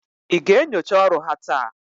ị ga-enyocha ọrụ ha taa?